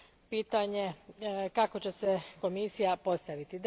pitanje kako će se Komisija postaviti.